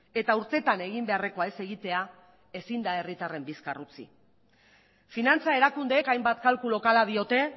eta urteetan egin beharrekoa ez egitea ezin da herritarren bizkar utzi finantza erakundeek hainbat kalkuluk hala diote